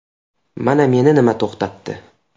Mana meni nima to‘xtatdi.